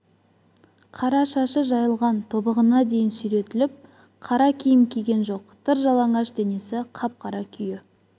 қара шашы жайылған тобығына дейін сүйретіп қара киім киген жоқ тыр жалаңаш денесі қап-қара күйе